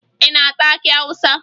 Ị na-ata akị Awụsa?